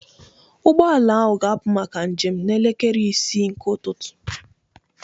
Ụgbọ ala ahụ ga-apụ maka njem n'elekere isii nke ụtụtụ